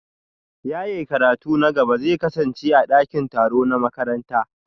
Yaye karatun na gaba zai kasance a dakin taro na makaranta